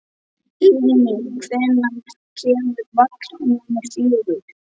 Líni, hvenær kemur vagn númer fjögur?